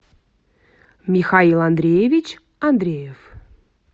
михаил андреевич андреев